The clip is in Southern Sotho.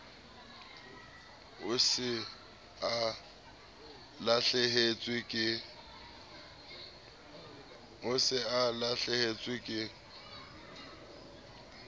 o se o lahlehetswe ke